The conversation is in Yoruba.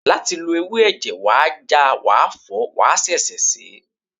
Láti lo ewé ẹ̀jẹ̀, wàá ja, wàá fọ̀ọ́, wàá ṣẹ̀ṣẹ̀ sèé